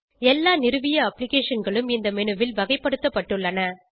எல்லா நிறுவிய அப்ளிகேஷன்களும் இந்த மெனுவில் வகைப்படுத்தப்பட்டுள்ளன